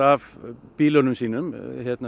af bílunum sínum